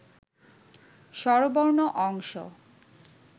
স্বরবর্ণ অংশ